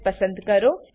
S પસંદ કરો